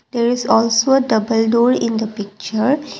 there is also double door in the picture.